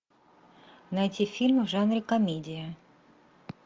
найти фильм в жанре комедия